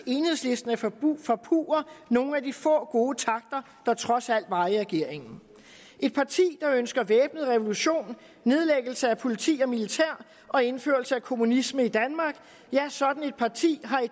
enhedslisten at forpurre forpurre nogle af de få gode takter der trods alt var i regeringen et parti der ønsker væbnet revolution nedlæggelse af politi og militær og indførelse af kommunisme i danmark sådan et parti har i